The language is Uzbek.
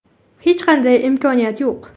Hech qanday imkoniyat yo‘q.